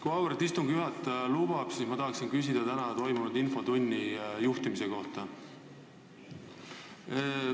Kui auväärt istungi juhataja lubab, siis ma küsiksin tänase infotunni juhtimise kohta.